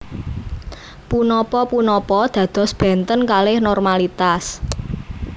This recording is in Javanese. Punapa punapa dados benten kalih normalitas